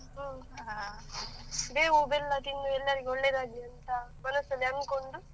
ಬೇವು ಬೆಲ್ಲ ತಿಂದು ಎಲ್ಲರಿಗೆ ಒಳ್ಳೆಯದಾಗಲಿ ಅಂತ ಮನಸಲ್ಲಿ ಅಂದುಕೊಂಡು.